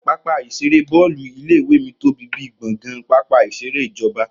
Pápá ìṣeré Bọ́ọ́lù ilé ìwé mí tóbi bíi gbọ̀ngàn pápá ìṣeré ìjọba